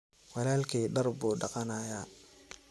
Walalkey dhaar buu dhaganaya.